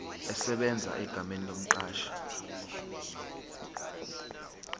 esebenza egameni lomqashi